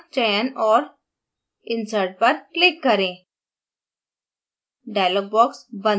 porphin fragment का चयन और insertपर click करें